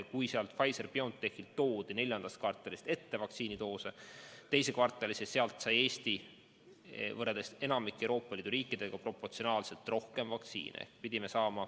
Kui Pfizer/BioNTechist toodi neljandast kvartalist vaktsiinidoose ettepoole teise kvartalisse, siis Eesti sai võrreldes enamiku teiste Euroopa Liidu riikidega proportsionaalselt rohkem vaktsiini.